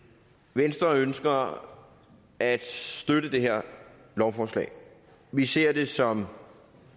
venstre ønsker at støtte det her lovforslag vi ser det som